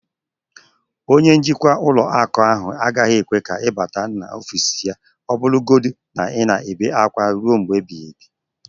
Onye njikwa ụlọ akụ ahụ agaghị ekwe ka ị bata n'ọfịs ya ọbụlagodi na ị na-ebe akwa ruo mgbe ebighị ebi